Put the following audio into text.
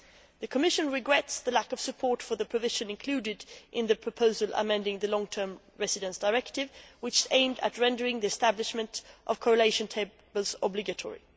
The Commission regrets the lack of support for the provision included in the 2007 COM proposal amending the Long Term Residence Directive which aimed at rendering the establishment of correlation tables obligatory.